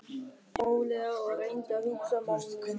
Hann labbaði rólega og reyndi að hugsa málið.